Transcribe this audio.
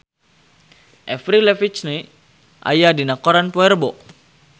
Avril Lavigne aya dina koran poe Rebo